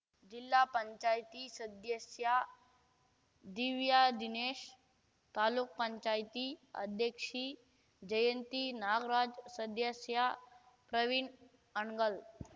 ಜಿಲ್ಲಾ ಪಂಚಾಯಿತಿ ಸದ್ದ್ಯಸ್ಯ ದಿವ್ಯಾದಿನೇಶ್‌ ತಾಲೂಕ್ ಪಂಚಾಯ್ತಿ ಅಧ್ಯಕ್ಷಿ ಜಯಂತಿ ನಾಗ್ರಾಜ್‌ ಸದ್ದ್ಯಸ್ಯ ಪ್ರವೀಣ್‌ ಹಣಗಲ್‌